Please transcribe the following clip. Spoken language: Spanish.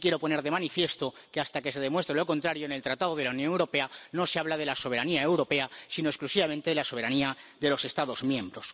Aunque sí quiero poner de manifiesto que, hasta que se demuestre lo contrario, en el Tratado de la Unión Europea no se habla de la soberanía europea, sino exclusivamente de la soberanía de los Estados miembros.